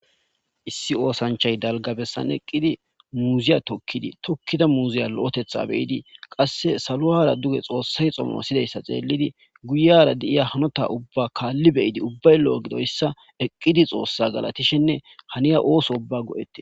Issi oosanchay dalgabessan eqqidi muuziya tokkidi tokkida muuziya lo'etetha beyidi qasse salu ara duge xoossay xomo sidayssa xeellidi guyera de'iya hanota ubba kaalli beyidi ubbay lo'o gidoyssa eqqidi xoossa galatishenne haniya ooso ubba go'ette